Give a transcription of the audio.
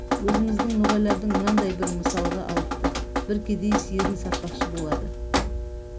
өзіміздің ноғайлардың мынандай бір мысалға алыпты бір кедей сиырын сатпақшы болады